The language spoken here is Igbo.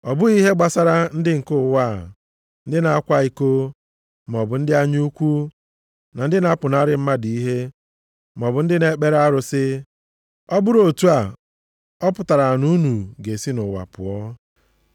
Ọ bụghị ihe gbasara ndị nke ụwa ndị na-akwa iko, maọbụ ndị anya ukwu, na ndị na-apụnara mmadụ ihe, maọbụ ndị na-ekpere arụsị. Ọ bụrụ otu a, ọ pụtara na unu ga-esi nʼụwa pụọ.